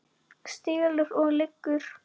Stelur og lýgur!